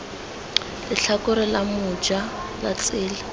letlhakore la moja la tsela